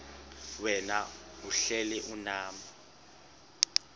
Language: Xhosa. wena uhlel unam